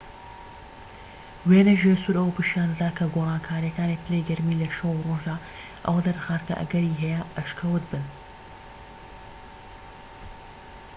وێنەی ژێرسوور ئەوە پیشان دەدات کە گۆڕانکاریەکانی پلەی گەرمی لە شەو و ڕۆژدا ئەوە دەردەخات کە ئەگەری هەیە ئەشکەوت بن